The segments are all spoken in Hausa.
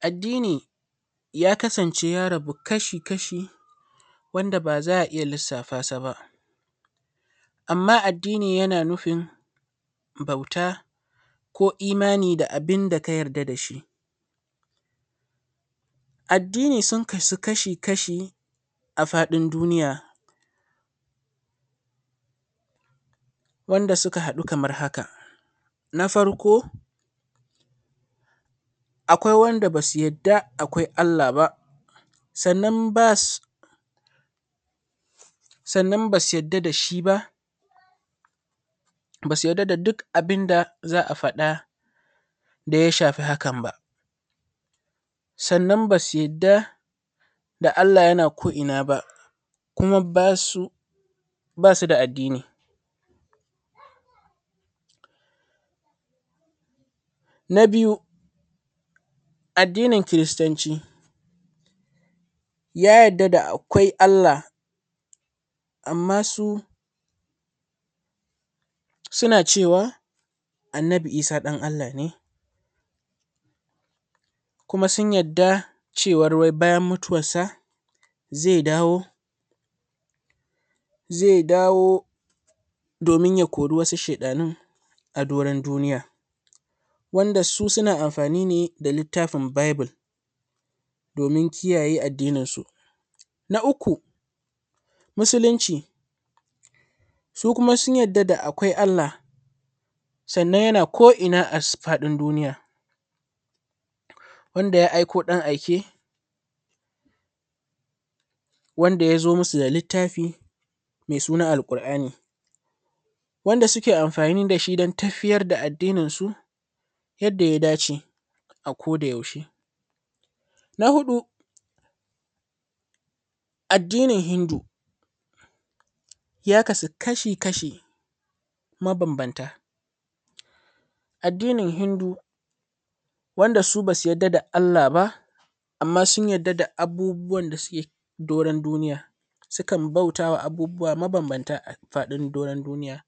Addini ya kasance ya rabu kashi-kashi wanda ba a za a iya lissafa sa ba. Amma addini yana nufin bauta ko imani da abinda ka yarda da shi. Addini sun kasu kashi-kashi a faɗin duniya wanda suka haɗu kamar haka. Na farko, akwai wanda ba su yarda akwai Allah ba. Sannan ba su yarda da shi ba, ba su yarda da duk abin da za a fada da ya shafi hakan ba. Sannan ba su yarda da Allah yana ko'ina ba kuma ba su da addini. Na biyu, addinin Kiristanci ya yarda da akeai Allah amma su suna cewa Annabi isa ɗan Allah kuma sun yarda cewa bayan mutuwarsa zai dawo domin ya kori wasu sheɗanun sa doron duniya wanda su suna amfani da littafin Bible dim is n kiyaye addininsu. Na uku musulunci, su kuma sun yarda da akwai Allah sannan yana ko'ina a faɗin duniya wanda ya aiko ɗan aike wanda ya zo.musu da littafi mai suna Al-ƙur'ani da suke amfani da shi don tafiyar da addininsu yadda ya dace a ko da yaushe. Na huɗu addinin hindu ya kasu kashi-kashi mabambanta. Addinin Hindu wanda ba su yarda da Allah ba amma sun yarda da abubuwan da suke doron duniya sukan bauta ma abubuwa mabambanta a doron duniya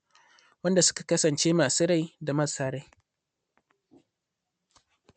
wanda suka Kasance masu rai da marasa rai.